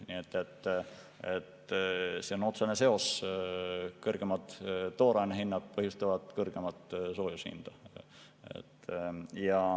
Nii et see on otsene seos: kõrgemad tooraine hinnad põhjustavad kõrgemat soojuse hinda.